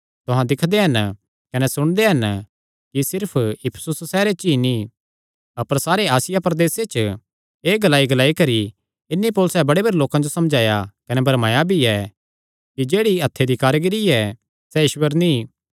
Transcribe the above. तुहां दिक्खदे हन कने सुणदे हन कि सिर्फ इफिसुस सैहरे च ई नीं अपर सारे आसिया प्रदेसे च एह़ ग्लाईग्लाई करी इन्हीं पौलुसैं बड़े भरी लोकां जो समझाया कने भरमाया भी ऐ कि जेह्ड़ी हत्थे दी कारीगरी ऐ सैह़ ईश्वर नीं